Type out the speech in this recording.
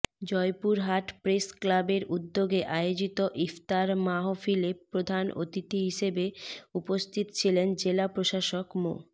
জয়পুরহাট প্রেসক্লাবের উদ্যোগে আয়োজিত ইফতার মাহফিলে প্রধান অতিথি হিসেবে উপস্থিত ছিলেন জেলা প্রশাসক মো